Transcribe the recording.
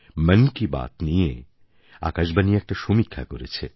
মন কি বাত নিয়ে আকাশবাণী একটা সমীক্ষা করেছে